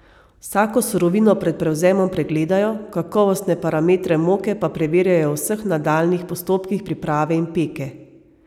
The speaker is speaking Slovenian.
Vsako surovino pred prevzemom pregledajo, kakovostne parametre moke pa preverjajo v vseh nadaljnjih postopkih priprave in peke.